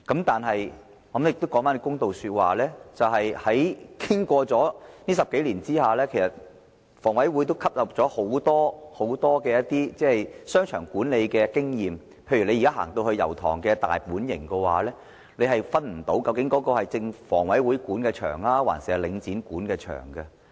但是，我要說一句公道話，經過這10多年後，房委會吸納了很多商場管理經驗，例如大家現在去到油塘的"大本型"，根本分辨不到它究竟是房委會還是領展管理的商場。